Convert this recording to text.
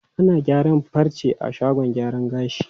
Ana gyaran farce a shagon gyaran gashi.